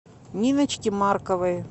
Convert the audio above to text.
ниночке марковой